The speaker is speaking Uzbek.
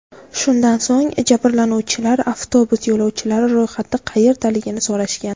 Shundan so‘ng jabrlanuvchilar avtobus yo‘lovchilari ro‘yxati qayerdaligini so‘rashgan.